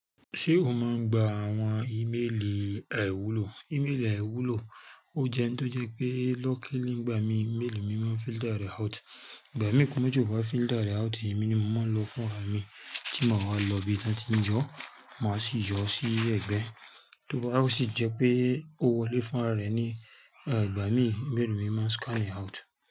Ṣé o máa ń gba àwọn ímélì àìwúlò? Ímélì àìwúlò, ó jẹ́ ohun tó jẹ́ pé luckily ńgba mi ímélì mi máa ń filter re out. Ìgbà mí kan tí ojú o ba filter re out yìí emini mo máa ń lo fún ra mi tí máa wa lọ ibi tí won ti ń yọ́, màá sì yọ́ sí ẹ̀gbẹ́. Tí ó bá sì jẹ́ pé ó wọlé fúnra rẹ̀ ní ìgbà mí, ímélì mi máa scan e out.